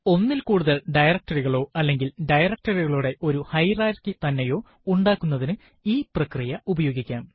ഒന്നിൽ കൂടുതൽ directory കളോ അല്ലെങ്കിൽ directory കളുടെ ഒരു ഹയറാർക്കി തന്നെയോ ഉണ്ടാക്കുന്നതിനു ഈ പ്രക്രിയ ഉപയോഗിക്കാം